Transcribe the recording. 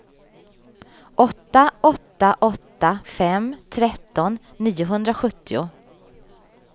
åtta åtta åtta fem tretton niohundrasjuttio